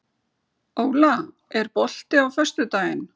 Óla, er bolti á föstudaginn?